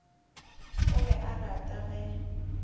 o be a rata ge